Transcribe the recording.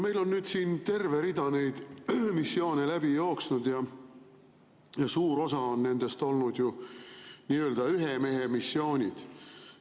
Meil on nüüd siin terve rida neid missioone läbi jooksnud ja suur osa nendest on olnud ju nii-öelda ühemehemissioonid.